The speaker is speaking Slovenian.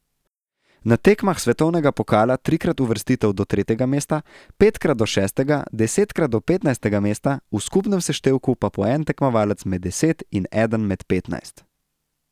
Na tekmah svetovnega pokala trikrat uvrstitev do tretjega mesta, petkrat do šestega, desetkrat do petnajstega mesta, v skupnem seštevku pa po en tekmovalec med deset in eden med petnajst.